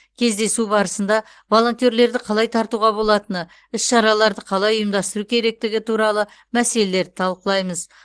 кездесу барысында волонтерлерді қалай тартуға болатыны іс шараларды қалай ұйымдастыру керектігі туралы мәселелерді талқылаймыз